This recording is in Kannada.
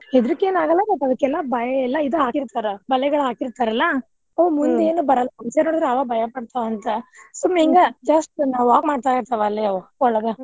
ಹೆದರಿಕಿ ಏನ್ ಆಗಲ್ಲಾ but ಅದ್ಕೆಲ್ಲಾ ಬ~ ಇದ ಹಾಕಿರ್ತಾರ ಬಲೆಗಳ್ ಹಾಕಿರ್ತಾರಲ್ಲಾ ಆವ ಮುಂದೇನ ಬರಲ್ಲ ಸುಮ್ನ್ ಹಿಂಗ just walk ಮಾಡ್ತಿರ್ತಾವ ಅಲ್ಲೇ ಅವ್ ಒಳಗ.